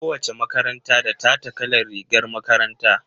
Ko wace makaranta da tata kalar rigar makaranta.